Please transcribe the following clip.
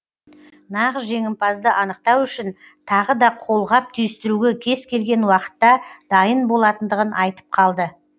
нағыз жеңімпазды анықтау үшін тағы да қолғап түйістіруге кез келген уақытта дайын болатындығын айтып қалды